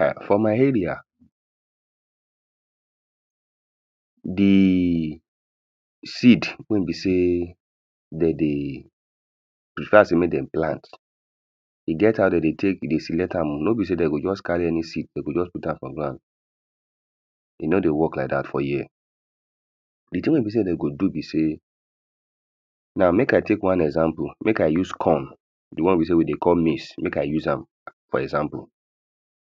um for my area the seed wey e be sey de dey prefer sey dem dey de plant e get how de dey take dey select am oh. No be sey de go just carry any seed, de go just put am for ground. E no dey work like dat for here. The thing wey be sey de go do be sey, now make i take one example. Make i use corn the one wey sey we dey call maize. Make i use am for example.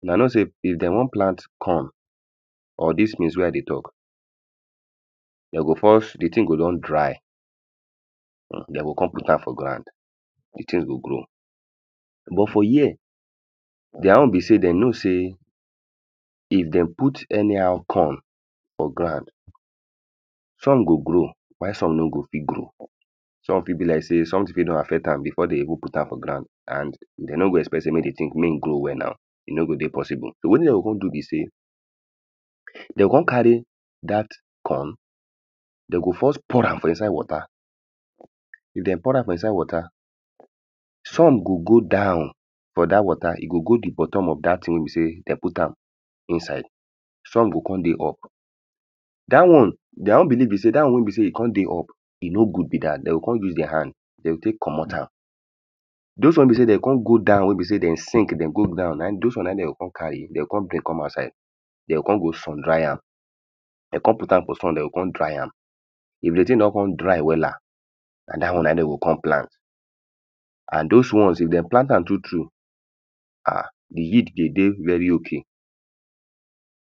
Huna know sey if de wan plant corn or dis maize wey i dey talk de go first the thing go don dry and de go con put am for ground the thing go grow. But for here their own be sey de know sey if de put anyhow corn for ground, some go grow while some no go fit grow. Some fit be like sey, something fit don affect am before they even put am for ground and de no go expect sey mey the thing mey e grow wella. E no go dey possible. Wetin de go con do be sey um you go con carry dat corn. De go first pour am for inside water. If de pour am for inside water some go go down but dat water, e go go the buttom of dat thing wey be sey de put am inside. Some go con dey up. Dat one, their own believe be sey, dat one wey be sey e con dey up e no good be dat. De o con use their hand de take comot am. Dis one wey be sey de o con go down wey be sey de sink de go down na im dis one na im de o con carry. De o con bring come outside. De o con go sun dry am. De con put am for sun, do go con dry am. If the thing don con dry wella, na dat one na im de go con plant. And this one if de plant am true true, ah the yield dey dey very okay.